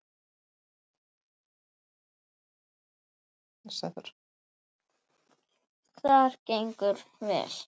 Það gengur vel.